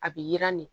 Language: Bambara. A bi yiran de